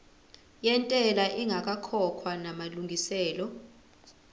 yentela ingakakhokhwa namalungiselo